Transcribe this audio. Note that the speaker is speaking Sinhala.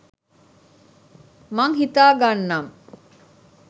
මං හිතා ගන්නම්